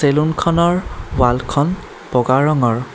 চেলুনখনৰ ৱালখন বগা ৰঙৰ।